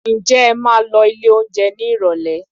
Ǹjẹ́ ẹ máa lọ ilé oúnjẹ ní Ìrọ̀lẹ̀?